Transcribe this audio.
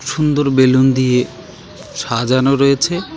সুন্দর বেলুন দিয়ে সাজানো রয়েছে .